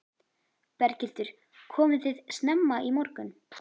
Berghildur: Komuð þið snemma í morgun?